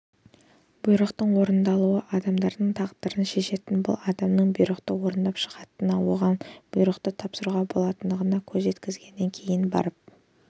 бұйрықтың орындалуы адамдардың тағдырын шешетініне бұл адамның бұйрықты орындап шығатынына оған бұйрықты тапсыруға болатынына көз жеткізгеннен кейін барып